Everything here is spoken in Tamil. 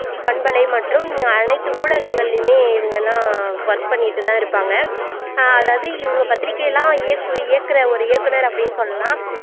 பன்பலை மற்றும் அனைத்து ஊடகங்களிலுமே இவங்க எல்லாம் work பண்ணிட்டு தான் இருப்பாங்க ஆஹ் அதாவது இவங்க பத்திரிக்கை எல்லாம் இயக்கு இயக்குற ஒரு இயக்குனர் அப்படின்னு சொல்லலாம்